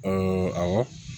awɔ